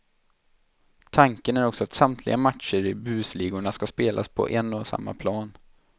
Tanken är också att samtliga matcher i busligorna ska spelas på en och samma plan.